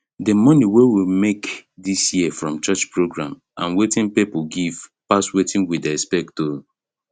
d money wey we make this year from church program and wetin people give pass wetin we dey expect o